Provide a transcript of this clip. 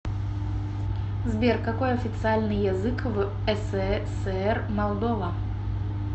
сбер какой официальный язык в сср молдова